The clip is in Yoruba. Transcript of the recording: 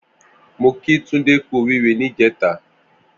Mó kí Tunde kù óriré nijètá